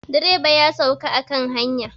Direba ya sauka a kan hanya.